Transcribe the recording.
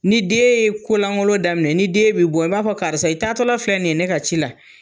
Ni den ye kolankolon daminɛ, ni den bɛ bɔ i b'a fɔ karisa i taa tɔla filɛ nin ye ne ka ci la.